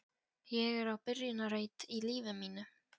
Ég er á byrjunarreit í lífi mínu.